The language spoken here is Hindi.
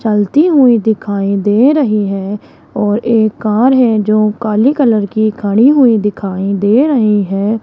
चलती हुई दिखाई दे रही है और एक कार है जो काली कलर की खड़ी हुई दिखाई दे रही है।